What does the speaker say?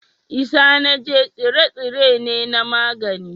Isanaje tsire-tsire ne na magani